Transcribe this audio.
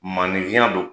Maninfinya don